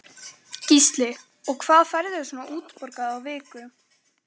Gísli: Og hvað færðu svona útborgað á viku?